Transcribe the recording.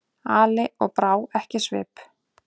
Ali og brá ekki svip.